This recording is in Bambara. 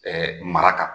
mara kan